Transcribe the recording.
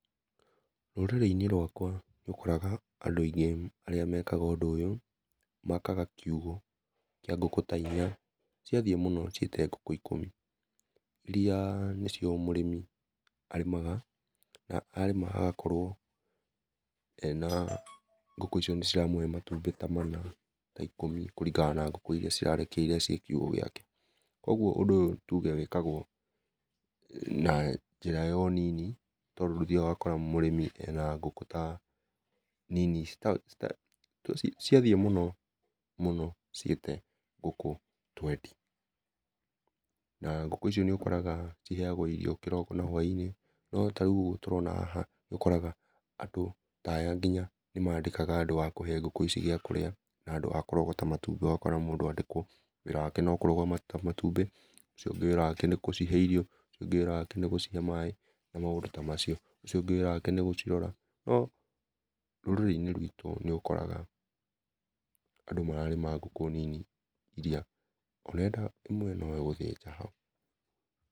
Rũrĩrĩ-inĩ rwakwa nĩ ũkoraga andũ aĩngĩ arĩa mekaga ũyũ, makaga kiugũ kĩa ngũkũ ta inya cia thiĩ mũno ciĩte ngũkũ ĩkũmi, irĩa nĩ cio mũrĩmi arĩmaga na arĩma agakorwo ena ngũkũ ico nĩciramũhe matũmbĩ ta mana ta ĩkũmi kũringana na ngũkũ irĩa cirarekia ci kiugũ gĩake. Kogũo ũndũ ũyũ tũge wĩkagwo na njĩra ya ũnini tondũ nĩ ũthiaga ũgakora mũrĩmi ena ngũkũ ta nini, ciathiĩ mũno mũno ciĩte ngũkũ twendi na ngũkũ icio nĩũkoraga ciheagwo irio kĩroko na hwainĩ, no tarĩũ ũguo tũrona haha, nĩ ũkora andũ ta aya nginya nĩ mandĩkaga andũ a kũhe ngũkũ icio gĩa kũrĩa na andũ a kũrogota matũmbĩ, ũgakora mũndũ andĩkwo wĩra wake no kũrogota matũmbĩ, ũcio ũngĩ wĩra wake nĩgũcihe ĩrio, ũcio ũngĩ wĩra wake nĩgũcihe maĩ na maũndũ ta macio, ũcio ũngĩ wĩra wake nĩgũcirora. No rũrĩrĩ-inĩ rwitũ nĩ ũkoraga andũ mararĩma ngũkũ nini nginya wenda ĩmwe no gũthĩnja haũ.